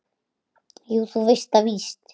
Jú, þú veist það víst.